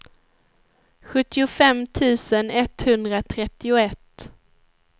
sjuttiofem tusen etthundratrettioett